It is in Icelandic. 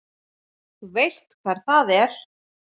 Þú veist hvar það er?